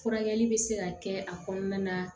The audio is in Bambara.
Furakɛli bɛ se ka kɛ a kɔnɔna na